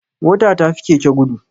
Mota ta fi keke gudu